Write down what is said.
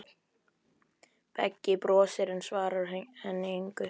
Beggi brosir, en svarar henni engu.